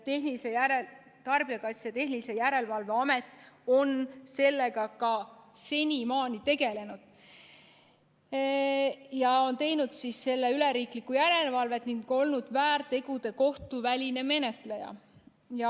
Tarbijakaitse ja Tehnilise Järelevalve Amet on sellega ka senimaani tegelenud ja on teinud selle üle riiklikku järelevalvet ning olnud väärtegude kohtuväline menetleja.